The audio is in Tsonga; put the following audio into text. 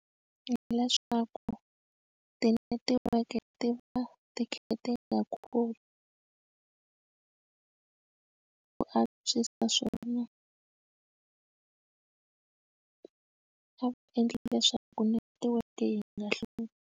Hi leswaku tinetiweke ti va ti kha ti nga koti ku antswisa swona a va endli leswaku netiweke yi nga hluphi.